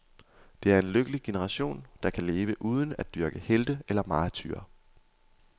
Det er en lykkelig generation, der kan leve uden at dyrke helte eller martyrer.